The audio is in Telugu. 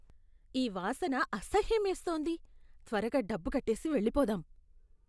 ఈ వాసన అసహ్యమేస్తోంది. త్వరగా డబ్బు కట్టేసి వెళ్లిపోదాం.